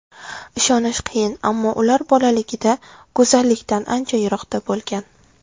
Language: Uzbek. Ishonish qiyin, ammo ular bolaligida go‘zallikdan ancha yiroqda bo‘lgan.